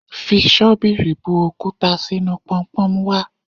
Fi ṣọ́bìrì bu òkúta sínú Pọnpọ́n wá.